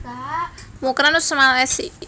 Mukran Usman Lc